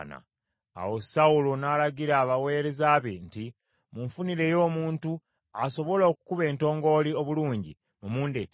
Awo Sawulo n’alagira abaweereza be nti, “Munfunireyo omuntu asobola okukuba entongooli obulungi, mumundeetere.”